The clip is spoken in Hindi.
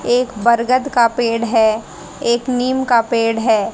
एक बरगद का पेड़ है एक नीम का पेड़ है।